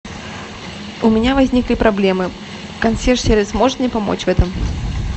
у меня возникли проблемы консьерж сервис может мне помочь в этом